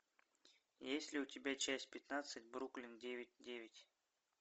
есть ли у тебя часть пятнадцать бруклин девять девять